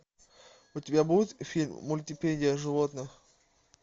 у тебя будет фильм мультипедия животных